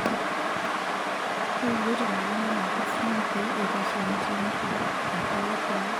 Tayiolo tenguton enaiko nosesen pee eitashe emtii enkiurriurr.